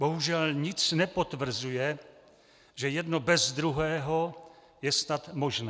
Bohužel nic nepotvrzuje, že jedno bez druhého je snad možné.